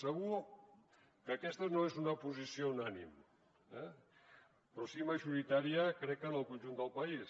segur que aquesta no és una posició unànime eh però sí majoritària crec en el conjunt del país